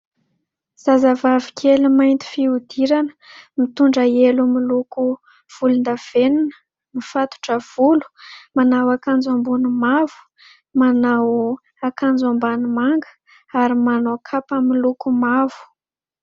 Zazavavy kely mainty fihodirana ; mitondra elo miloko volondavenina .Mifatotra volo , manao akanjo ambony mavo , manao akanjo ambany manga ary manao kapa miloko mavo.